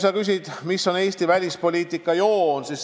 Sa küsid, mis on Eesti välispoliitika põhiliin.